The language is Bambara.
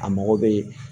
A mɔgɔ bɛ